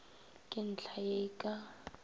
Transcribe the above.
ke ntlha ye e ka